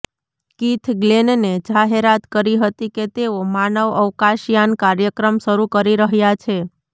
Keith ગ્લેનને જાહેરાત કરી હતી કે તેઓ માનવ અવકાશયાન કાર્યક્રમ શરૂ કરી રહ્યા છે